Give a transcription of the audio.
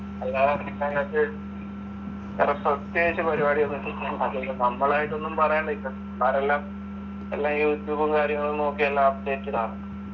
അല്ലാതെ വേറെ പ്രത്യേകിച്ച് പരിപാടിയൊന്നും ചെയ്യണ്ട. പിന്നെ നമ്മളായിട്ടൊന്നും പറയാൻ നിക്കണ്ട. പിള്ളാരെല്ലാം എല്ലാം, എല്ലാം യൂട്യൂബും കാര്യങ്ങളും നോക്കി എല്ലാം അപ്ഡേറ്റഡ് ആണ്.